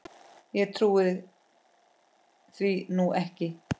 Ég trúi því nú ekki!